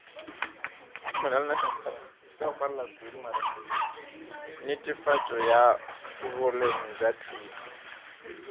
netefatšo ya boleng bja thuto